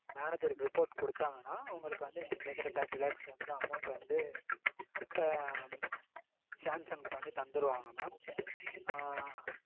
manager க்கு report கொடுத்தாங்கனா உங்களுக்கு வந்து நீங்க கேக்கற thirty lakhs வந்து amount வந்து sanction பண்ணி தந்துருவாங்க mam